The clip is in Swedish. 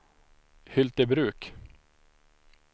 Hyltebruk